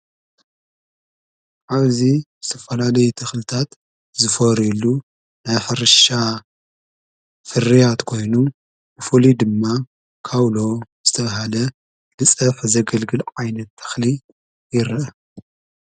ዓብዙ ዝተፈላዶይ ተኽልታት ዝፈወርኢሉ ናይ ፈርሻ ፍርያት ኮይኑ ምፉሊ ድማ ካውሎ ዝተብሃለ ልጸፍ ዘገልግል ዓይነት ተኽሊ ይርአ።